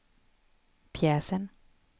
pjäsen